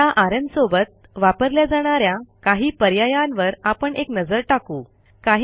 आता आरएम सोबत वापरल्या जाणा या काही पर्यायांवर आपण एक नजर टाकू